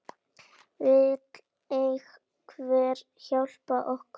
Vill einhver hjálpa okkur?